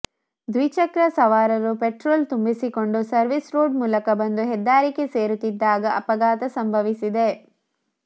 ದ್ವಿಚಕ್ರ ಸವಾರರು ಪೆಟ್ರೋಲ್ ತುಂಬಿಸಿಕೊಂಡು ಸರ್ವಿಸ್ ರೋಡ್ ಮೂಲಕ ಬಂದು ಹೆದ್ದಾರಿಗೆ ಸೇರುತ್ತಿದ್ದಾಗ ಅಪ ಘಾತ ಸಂಭವಿಸಿದೆ